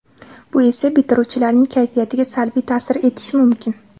Bu esa bitiruvchilarning kayfiyatiga salbiy ta’sir etishi mumkin.